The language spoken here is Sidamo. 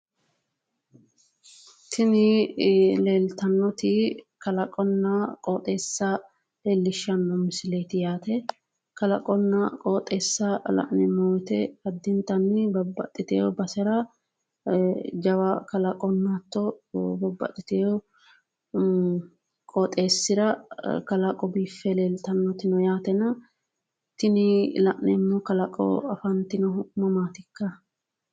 tini leeltannoti kalaqonna qooxeessa leellihshanno misileeti yaate kalaqonna qooxeessa la'neemmo wote addintanni babbaxitino basera jawa kalaqonna hatto babbaxitewo qooxeessira kalaqo biiffe leeltannoti no yaate tini la'neemmo kalaqo afantannohu mamaatikka?